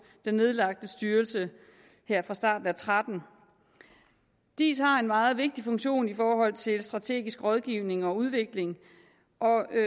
den nedlagte styrelse her fra starten af og tretten diis har en meget vigtig funktion i forhold til strategisk rådgivning og udvikling og